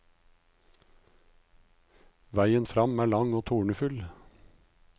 Veien frem er lang og tornefull.